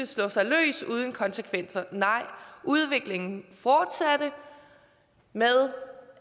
slå sig løs uden konsekvenser nej udviklingen fortsatte med